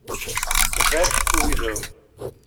Več v videu!